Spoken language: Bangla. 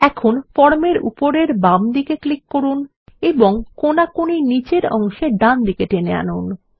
এখন ফর্ম এর উপরের বামদিকে ক্লিক করুন এবং কোনাকুনি নীচের অংশে ডানদিকে টেনে আনুন